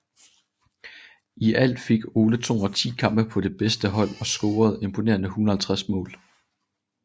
I alt fik Ole 210 kampe på det bedste hold og scorede imponerende 150 mål